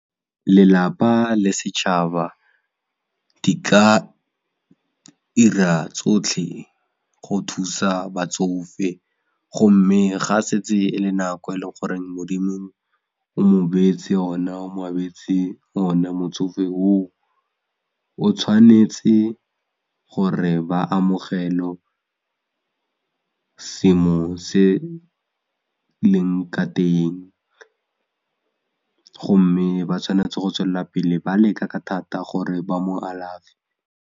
Lelapa le setšhaba di ka 'ira tsotlhe go thusa batsofe gomme ga setse e le nako e leng goreng modimo o mo beetse yona o mo abetse yona motsofe o o, o tshwanetse gore ba amogele seemo se leng ka teng gomme ba tshwanetse go tswelela pele ba leka ka thata gore ba mo alafe.